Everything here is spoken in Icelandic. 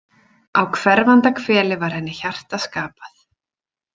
Á hverfanda hveli var henni hjarta skapað.